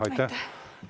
Aitäh!